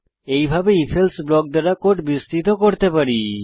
এইভাবে IfElse block দ্বারা code বিস্তৃত করতে পারি